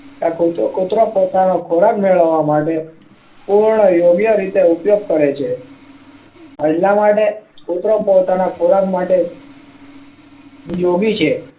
એ કુતરો કુતરો પોતાનો ખોરાક મેળવવા માટે પૂર્ણ યોગ્ય રીતે ઉપયોગ કરે છે એટલા માટે કુતરો પોતાના ખોરાક માટે યોગી છે